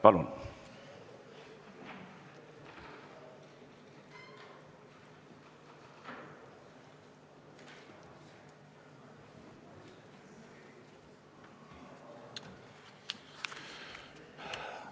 Palun!